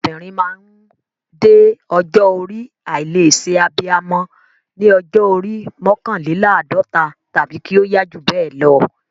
Obìnrin máa ń dé ọjọ́ orí àìlè ṣe abiyamọ ní ọjọ́ orí mọ́kànléláàdọ́ta tàbí kí ó yá jù bẹ́ẹ̀ lọ.